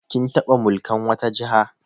Kin taɓa mulkan wata Jiha?